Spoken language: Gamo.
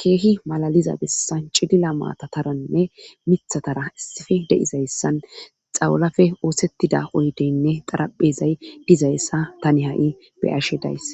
keehi malaliza bessan cidila maatataranne mithatara issife de7izayssan xawalafe oosettida oydeynne qaraphezay dizayssa tani ha7i beyashe days.